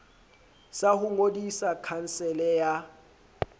sa ho ngodisa khansele ya